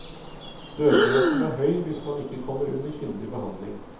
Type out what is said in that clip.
Dødeligheten er høy hvis man ikke kommer under kyndig behandling.